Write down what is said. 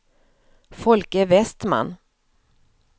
Folke Westman